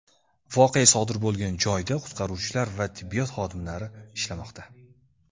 Voqea sodir bo‘lgan joyda qutqaruvchilar va tibbiyot xodimlari ishlamoqda.